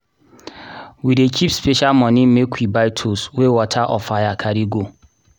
we dey keep special moni make we buy tools wey water or fire carry go.